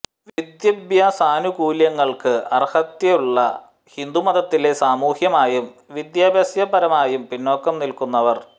വിദ്യാഭ്യാസാനുകൂല്യങ്ങൾക്ക് അർഹത്യുള്ള ഹിന്ദു മതത്തിലെ സാമൂഹ്യമായും വിദ്യാഭ്യാസപരമായും പിന്നോക്കം നിൽക്കുന്നവർ